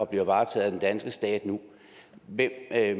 bliver varetaget af den danske stat nu hvem